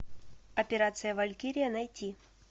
операция валькирия найти